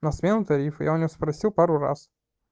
на смену тарифа я у неё спросил пару раз